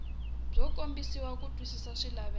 byo kombisa ku twisisa swilaveko